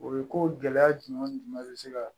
O ye ko gɛlɛya jumɛn jumɛn bɛ se ka